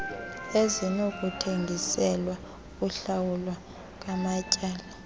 ezinokuthengiselwa ukuhlawulwa kwamatyala